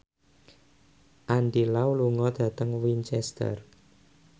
Andy Lau lunga dhateng Winchester